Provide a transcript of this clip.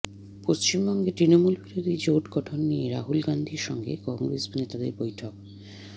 পশ্চিমবঙ্গে তৃণমূলবিরোধী জোট গঠন নিয়ে রাহুল গান্ধীর সঙ্গে কংগ্রেস নেতাদের বৈঠক